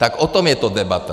Tak o tom je to debata.